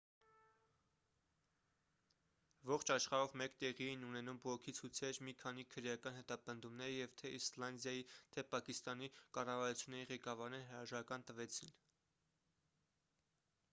ողջ աշխարհով մեկ տեղի էին ունենում բողոքի ցույցեր մի քանի քրեական հետապնդումներ և թե իսլանդիայի թե պակիստանի կառավարությունների ղեկավարները հրաժարական տվեցին